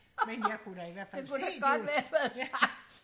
men jeg kunne da i hvert fald se det var